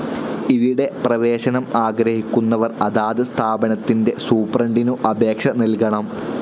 ഇവിടെ പ്രവേശനം ആഗ്രഹിക്കുന്നവർ അതാത് സ്ഥാപനത്തിൻ്റെ സൂപ്രണ്ടിനു അപേക്ഷ നൽകണം.